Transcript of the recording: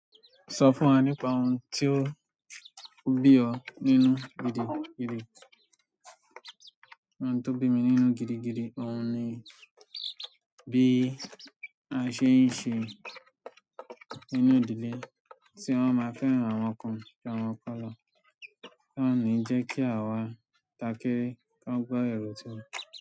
Sọ fún wa nípa ohun ti ó ń bí ọ nínú gidigidi. Ohun tó ń bí mi nínú gidigidi, òun ni bí a ṣe ń ṣe nínú ìdílé tí wọ́n máa fẹ́ran àwọn kan ju awọ́n kan lọ, tí wọ́n ní ń jẹ́ kí àwa ta kere kí a gbọ́ èrò tí wọ́n.